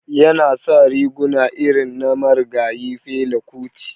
Yana sa riguna irin na marigayi Fela kuti.